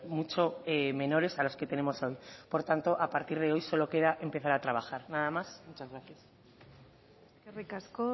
mucho menores a los que tenemos hoy por tanto a partir de hoy solo queda empezar a trabajar nada más muchas gracias eskerrik asko